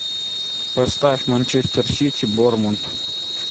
поставь манчестер сити борнмут